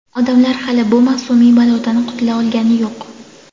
odamlar hali bu mavsumiy balodan qutula olgani yo‘q.